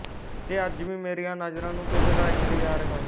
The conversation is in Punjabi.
ਤੇ ਅੱਜ ਵੀ ਮੇਰੀਆ ਨਜਰਾ ਨੂ ਕਿਸੇ ਦਾ ਇੰਤਜਾਰ ਹੈ